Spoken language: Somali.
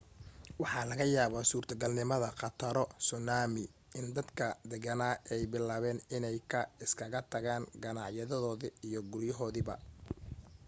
waxaa laga yaabaa suurtagalnimada khataro suunaami, in dadkii deganaa ay bilaabeen inay ka iskaga tagaan ganaciyadoodii iyo guryahoodiiba